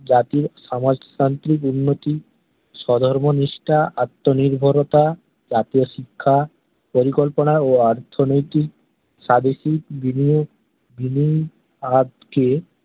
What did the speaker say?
জাতির সমাজতান্ত্রিক উন্নতি স্বধর্ম নিষ্ঠা আত্ম নির্ভরতা জাতীয় শিক্ষা পরিকল্পনা ও অর্থনৈতিক স্বাদেশিক বিনিয়োগ বিনিয়াদ কে